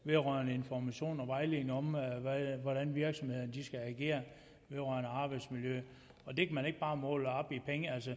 vedrørende information og vejledning om hvordan virksomhederne skal agere vedrørende arbejdsmiljø og det kan man ikke bare måle op i penge altså